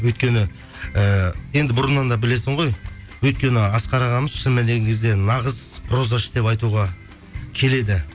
өйткені ііі енді бұрыннан да білесің ғой өйткені асқар ағамыз шын мәніне келген кезде нағыз прозашы деп айтуға келеді